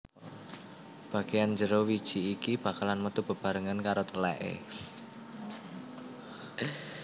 Bageyan jero wiji iki bakalan metu bebarengan karo teleke